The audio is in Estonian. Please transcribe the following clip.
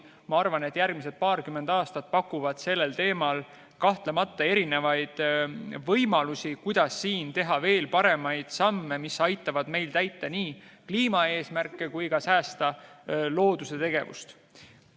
Ma arvan, et järgmised paarkümmend aastat pakuvad sellel teemal kahtlemata erinevaid võimalusi, kuidas teha veel paremaid samme, mis aitavad meil nii kliimaeesmärke täita kui ka loodust säästa.